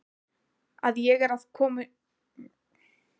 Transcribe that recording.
Að ég er komin heim.